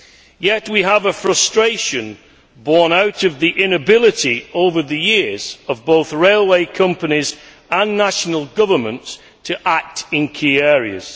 Yet we have a frustration born out of the inability over the years of both railway companies and national governments to act in key areas.